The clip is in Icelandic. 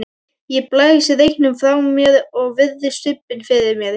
Ég blæs reyknum frá mér og virði stubbinn fyrir mér.